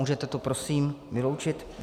Můžete to prosím vyloučit?